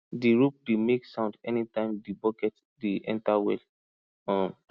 di rope dey make sound anytime the bucket dey enter well um